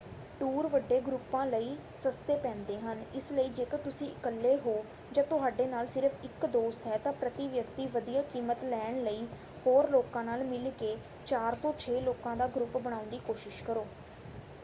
Tour ਵੱਡੇ ਗਰੁੱਪਾਂ ਲਈ ਸਸਤੇ ਪੈਂਦੇ ਹਨ ਇਸ ਲਈ ਜੇਕਰ ਤੁਸੀਂ ਇੱਕਲੇ ਹੋ ਜਾਂ ਤੁਹਾਡੇ ਨਾਲ ਸਿਰਫ਼ ਇੱਕ ਦੋਸਤ ਹੈ ਤਾਂ ਪ੍ਰਤੀ-ਵਿਅਕਤੀ ਵਧੀਆ ਕੀਮਤ ਲੈਣ ਲਈ ਹੋਰ ਲੋਕਾਂ ਨਾਲ ਮਿਲ ਕੇ ਚਾਰ ਤੋਂ ਛੇ ਲੋਕਾਂ ਦਾ ਗਰੁੱਪ ਬਣਾਉਣ ਦੀ ਕੋਸ਼ਿਸ਼ ਕਰੋ।